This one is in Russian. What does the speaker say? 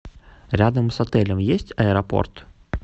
рядом с отелем есть аэропорт